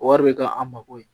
O wari bɛ ka an mako ye